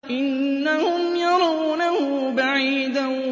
إِنَّهُمْ يَرَوْنَهُ بَعِيدًا